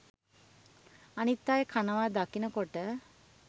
අනිත් අය කනවා දකිනකොට